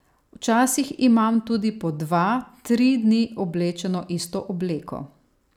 Včasih imam tudi po dva, tri dni oblečeno isto obleko.